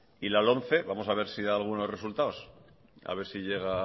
y la lomce vamos a ver si da algunos resultados a ver si llega a